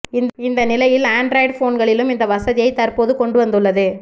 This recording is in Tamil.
இந்த நிலையில் ஆண்ட்ராய்டு போன்களிலும் இந்த வசதியைப் தற்போது கொண்டு வந்து உள்ளது